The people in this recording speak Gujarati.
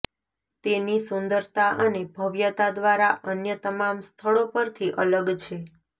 તેની સુંદરતા અને ભવ્યતા દ્વારા અન્ય તમામ સ્થળો પરથી અલગ છે